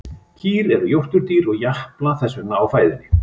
Kýr eru jórturdýr og japla þess vegna á fæðunni.